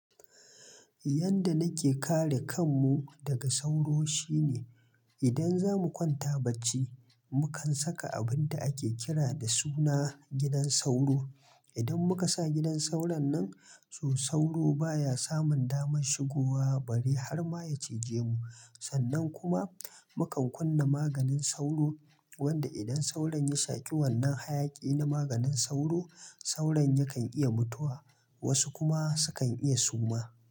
Yanda nake kare kanmu daga sauro shine, idan zamu kwanta bacci, mukan saka abun da ake kira da suna gidan sauro. Idan muka sa gidan sauron nan, to sauro baya samun damar shigowa bari har ma ya cije mu. Sannan kuma mukan kunna maganin sauro, wanda idan sauron ya shaki wannan hayaki na maganin sauro, sauron yakan iya mutuwa, wasu kuma sukan iya suma.